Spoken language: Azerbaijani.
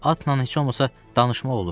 Atla heç olmasa danışmaq olur.